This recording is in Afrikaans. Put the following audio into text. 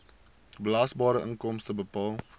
belasbare inkomste bepaal